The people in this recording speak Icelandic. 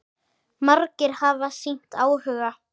Margir hafi sýnt áhuga.